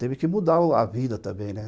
Teve que mudar a vida também, né?